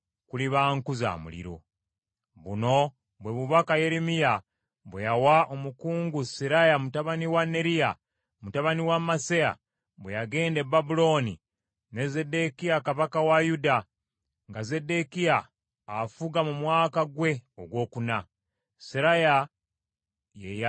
Buno bwe bubaka Yeremiya bwe yawa omukungu Seraya mutabani wa Neriya, mutabani wa Maseya, bwe yagenda e Babulooni ne Zeddekiya kabaka wa Yuda, nga Zeddekiya afuga mu mwaka gwe ogwokuna. Seraya ye yali omu ku bakungu abakulu.